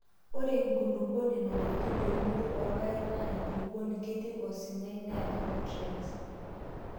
Ore enkulukuoni nanarikino eunoto oorpaek naa enkulukuoni kitii osinyai neata nutriense.